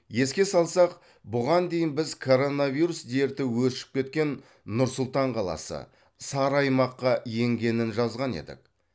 еске салсақ бұған дейін біз коронавирус дерті өршіп кеткен нұр сұлтан қаласы сары аймаққа енгенін жазған едік